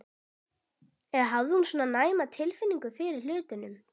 Eða hafði hún svona næma tilfinningu fyrir hlutunum?